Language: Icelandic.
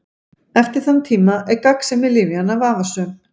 Eftir þann tíma er gagnsemi lyfjanna vafasöm.